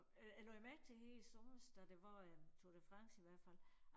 Øh jeg lagde mærke til her i sommers da det var øh Tour de France i hvert fald